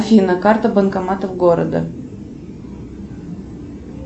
афина карта банкоматов города